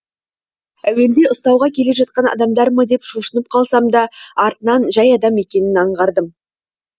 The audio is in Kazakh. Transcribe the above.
әуелде ұстауға келе жатқан адамдар ма деп шошынып қалсам да артынан жай адам екенін аңғардым